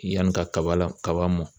Yanni ka kaba la kaba mɔn.